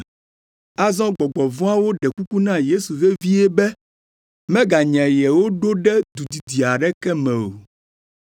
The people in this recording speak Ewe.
Azɔ gbɔgbɔ vɔ̃awo ɖe kuku na Yesu vevie be meganya yewo ɖo ɖe du didi aɖeke me o.